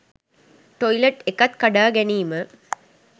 toilet එකක් කඩා ගැනීම